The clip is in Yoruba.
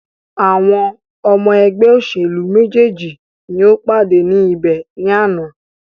Àwọn ọmọ ẹgbẹ́ òṣèlú méjèèjì ni o pàdé ní ibẹ̀ ní àná.